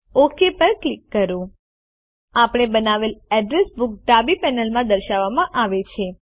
okay પર click કરો આપણે બનાવેલ અડ્રેસ બુક ડાબી પેનલમાં દર્શાવવામાં આવે છે